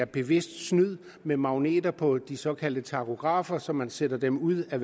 bevidst snyd med magneter på de såkaldte tachografer så man sætter dem ud af